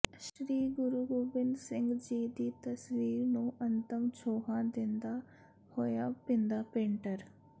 ਸ੍ਰੀ ਗੁਰੂ ਗੋਬਿੰਦ ਸਿੰਘ ਜੀ ਦੀ ਤਸਵੀਰ ਨੂੰ ਅੰਤਮ ਛੋਹਾਂ ਦਿੰਦਾ ਹੋਇਆ ਭਿੰਦਾ ਪੇਂਟਰ